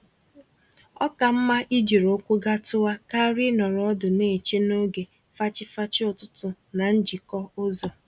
Oka mma ijiri ụkwụ gatuwa karịa ịnọrọ ọdụ n'eche n'oge fachi-fachi ụtụtụ na njikọ ụzọ